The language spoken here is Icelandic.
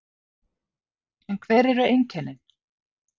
En hver eru einkennin?